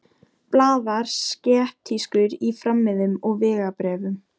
Blaðar skeptískur í farmiðum og vegabréfum.